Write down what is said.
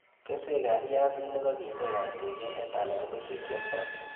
Keswekab biasinik ko bitekab temindet anan kochekioldo